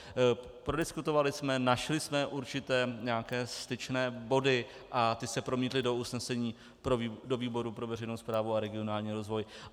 Prodiskutovali jsme, našli jsme určité nějaké styčné body a ty se promítly do usnesení do výboru pro veřejnou správu a regionální rozvoj.